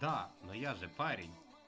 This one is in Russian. да но я же парень